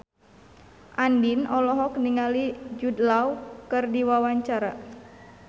Andien olohok ningali Jude Law keur diwawancara